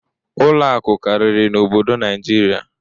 ụlọ akụ karịrị n'obodo Naịjirịa.